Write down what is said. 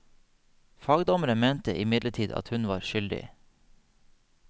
Fagdommeren mente imidlertid at hun var skyldig.